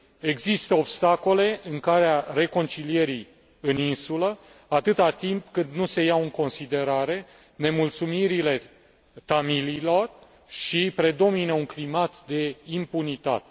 Există obstacole în calea reconcilierii în insulă, atât timp cât nu se iau în considerare nemulțumirile tamililor și predomină un climat de impunitate.